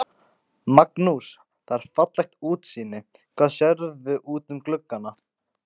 Magnús: Það er fallegt útsýni, hvað sérðu út um gluggana?